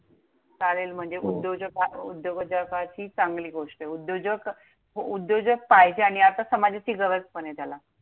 चालेल. हो! म्हणजे उद्योजक हा उद्योजकाची चांगली गोष्ट आहे. उद्योजक पाहिजे आणि समाजाची गरज पणे त्याला